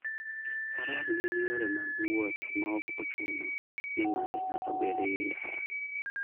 Faras gin yore mag wuoth maok ochuno ni ng'ato nyaka bed gi ndara.